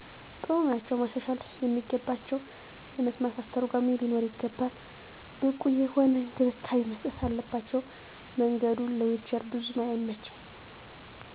ጥሩ ናቸዉ። ማሻሻል የሚገባቸዉ የመስማት አስተርጎሚ ሊኖር ይገባል። ብቁ የሆነ እንክብካቤ መስጠት አለባቸዉ። መንገዱ ለዊንቸር ቡዙም አይመችም።